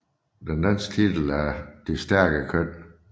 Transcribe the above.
Den danske titel er Det stærke køn